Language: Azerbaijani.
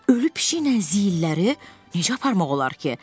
Ölü pişiklə ziyilləri necə aparmaq olar ki?